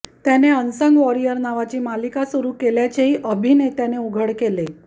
त्याने unsung warriors नावाची मालिका सुरू केल्याचेही अभिनेत्याने उघड केले